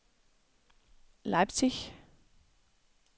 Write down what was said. Leipzig